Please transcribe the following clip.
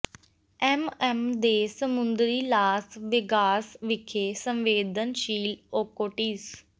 M M ਦੇ ਸਮੁੰਦਰੀ Las Vegas ਵਿਖੇ ਸੰਵੇਦਨਸ਼ੀਲ ਓਕੋਟੀਸ